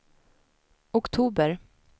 oktober